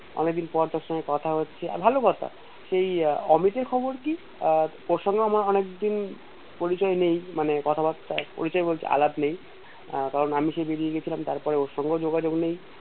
অনেকদিন পর তোর সঙ্গে কথা হচ্ছে ভালো কথা সেই অমিতের খবর কি আহ ওর সঙ্গেও আমার অনেকদিন পরিচয় নেই মানে কথাবার্তা পরিচয় বলতে অ্যালাপ নেই কারন আমি সেই বেড়িয়ে গেছিলাম তারপর ওর সঙ্গেও যোগাযোগ নেই